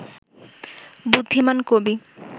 বুদ্ধিমান কবি